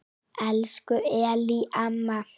Elsku Ellý amma.